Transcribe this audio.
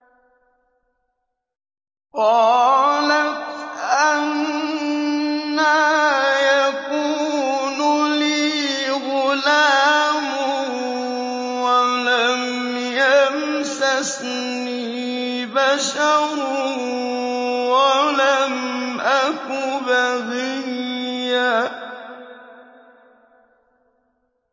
قَالَتْ أَنَّىٰ يَكُونُ لِي غُلَامٌ وَلَمْ يَمْسَسْنِي بَشَرٌ وَلَمْ أَكُ بَغِيًّا